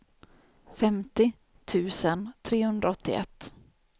femtio tusen trehundraåttioett